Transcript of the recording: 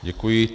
Děkuji.